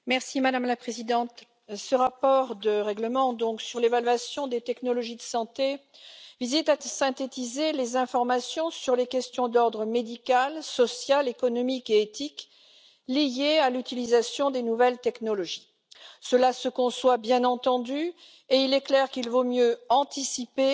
Madame la Présidente, ce rapport consacré au règlement sur l'évaluation des technologies de santé vise à synthétiser les informations sur les questions d'ordre médical, social, économique et éthique liées à l'utilisation des nouvelles technologies. Cela se conçoit, bien entendu, et il est clair qu'il vaut mieux anticiper